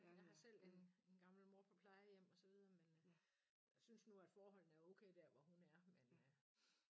Jeg har selv en en gammel mor på plejehjem og så videre men øh synes nu at forholdene er okay der hvor hun er men øh